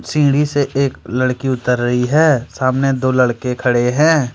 सीढ़ी से एक लड़की उतर रही है सामने दो लड़के खड़े हैं।